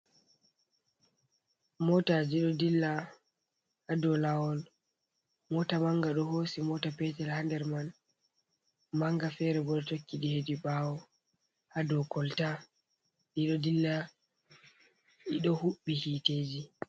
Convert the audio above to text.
Motaji ɗo dilla haɗau lawol. mota manga ɗo hosi mota petel ha nder man. manga fere boɗo tokki ɗi heɗi bawo ha ɗau kolta ɗiɗo ɗilla ɗiɗo huubi hiteji.